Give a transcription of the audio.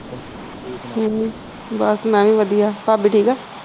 ਹਮ ਬਸ ਮੈਂ ਵੀ ਵਧਿਆ ਭਾਬੀ ਠੀਕ ਆ?